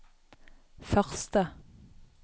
første